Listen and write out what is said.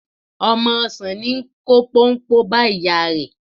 Ọmọ ọsàn ní í kó póńpó bá ìyá rẹ̀.